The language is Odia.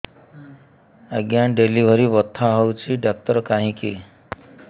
ଆଜ୍ଞା ଡେଲିଭରି ବଥା ହଉଚି ଡାକ୍ତର କାହିଁ କି